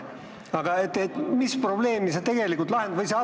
Aga mis probleemi sa tegelikult lahendad?